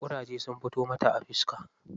Ƙuraje sun fito mata a fiska.